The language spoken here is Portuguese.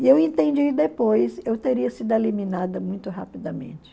E eu entendi depois, eu teria sido eliminada muito rapidamente.